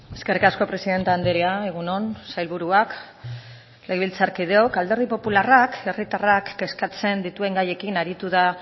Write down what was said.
eskerrik asko presidente andrea egun on sailburuak legebiltzarkideok alderdi popularrak herritarrak kezkatzen dituen gaiekin aritu da